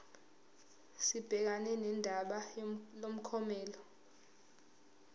sibhekane nodaba lomklomelo